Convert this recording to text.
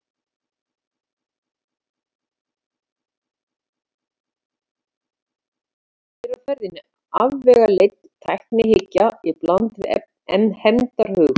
Hér er á ferðinni afvegaleidd tæknihyggja í bland við hefndarhug.